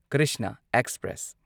Krishna express